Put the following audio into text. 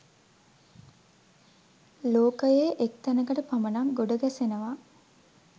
ලෝකයේ එක් තැනකට පමණක් ගොඩ ගැසෙනවා.